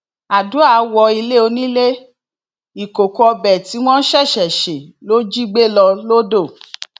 àdùá wọ ilé onílé ìkòkò ọbẹ tí wọn ṣẹṣẹ ṣe ló jí gbé lọ lodò